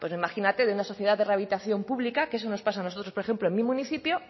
imagínate de una sociedad de rehabilitación pública que eso nos pasa a nosotros por ejemplo en mi municipio